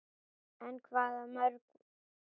En hvaða mörk?